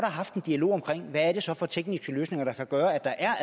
haft en dialog om hvad det så er for tekniske løsninger der kan gøre